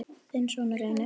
þinn sonur, Reynir.